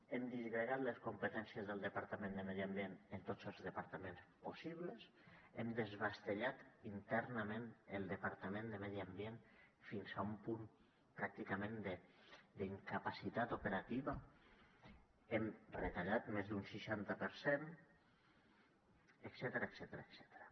hem disgregat les competències del departament de medi ambient en tots els departaments possibles hem desballestat internament el departament de medi ambient fins a un punt pràcticament d’incapacitat operativa hem retallat més d’un seixanta per cent etcètera